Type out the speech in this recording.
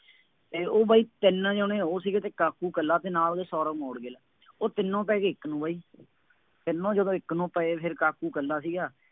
ਅਤੇ ਬਾਈ ਤਿੰਨ ਜਣੇ ਉਹ ਸੀਗੇ, ਕਾਕੂ ਇਕੱਲਾ ਅਤੇ ਨਾਲ ਉਹਦੇ ਸੌਰਵ ਮੋਡਗਿਲ, ਉਹ ਤਿੰਨੋ ਪੈ ਗਏ ਇੱਕ ਨੂੰ ਬਈ, ਤਿੰਨੋ ਜਦੋਂ ਇੱਕ ਨੂੰ ਪਏ ਫੇਰ ਕਾਕੂ ਇਕੱਲਾ ਸੀਗਾ